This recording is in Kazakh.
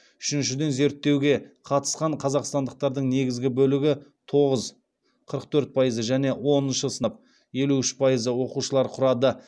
үшіншіден зерттеуге қатысқан қазақстандықтардың негізгі бөлігі тоғыз және оныншы сынып оқушылары құрады